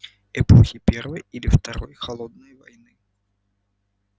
эпохи первой или второй холодной войны